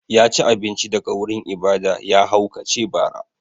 Ya ci abinci daga wurin ibada, ya haukace bara.